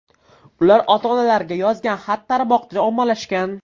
Ular ota-onalariga yozgan xat tarmoqda ommalashgan .